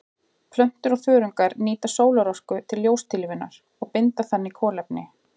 Plöntur og þörungar nýta sólarorka til ljóstillífunar og binda þannig kolefni.